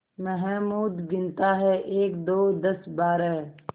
महमूद गिनता है एकदो दसबारह